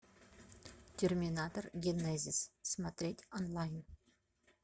терминатор генезис смотреть онлайн